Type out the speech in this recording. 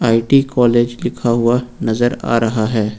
IT college लिखा हुआ नजर आ रहा है।